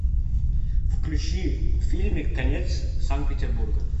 включи фильмик конец санкт петербурга